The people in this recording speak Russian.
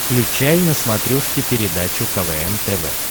включай на смотрешке передачу квн тв